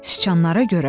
Siçanlara görə?